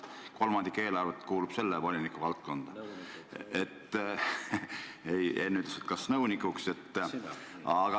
Kolmandik eelarvet kuulub selle voliniku töövaldkonda.